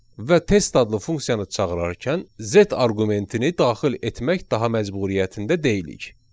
Və test adlı funksiyanı çağırarkən Z arqumentini daxil etmək daha məcburiyyətində deyilik.